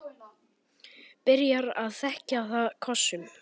Byrjar að þekja það kossum.